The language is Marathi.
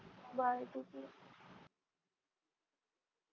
byegood night